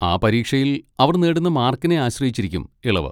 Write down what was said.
ആ പരീക്ഷയിൽ അവർ നേടുന്ന മാർക്കിനെ ആശ്രയിച്ചിരിക്കും ഇളവ്.